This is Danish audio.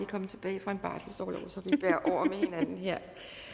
komme tilbage fra en barselsorlov så vi bærer over med hinanden her